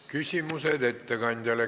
Küsimused ettekandjale.